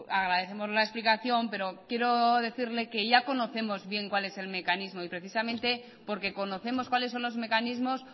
agradecemos la explicación pero quiero decirle que ya conocemos bien cuál es el mecanismo y precisamente porque conocemos cuáles son los mecanismos